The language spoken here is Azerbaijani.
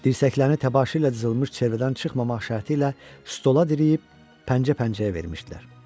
Dirsəklərini təbaşir ilə cızılmış çevrədən çıxmamaq şərti ilə stola dirəyib pəncə-pəncəyə vermişdilər.